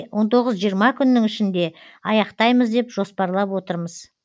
он тоғыз жиырма күннің ішінде аяқтаймыз деп жоспарлап отырмыз